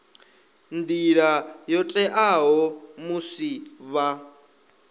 nḓila yo teaho musi vha